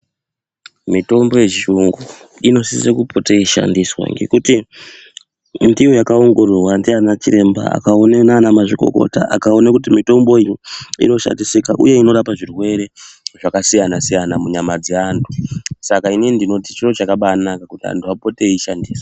Mitombo yechiyungu, inosise kupote yeishandiswa ngekuti ndiyo yakaongororwa ndianachiremba akaone naanamazvikokota akaone kuti mitombo iyi inoshandisika uye inorapa zvirwere zvakasiyana-siyana munyama dzeantu. Saka inini ndinoti, chiro chakabaanaka kuti antu apote eishandisa.